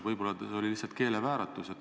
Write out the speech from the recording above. Võib-olla teil oli lihtsalt keelevääratus.